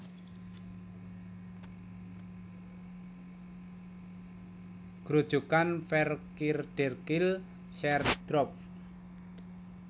Grojogan VerKeerderkill sheer drop